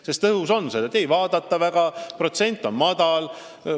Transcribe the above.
Selline ettepanek on õhus, sest seda väga ei vaadata, vaadatavuse protsent on madal.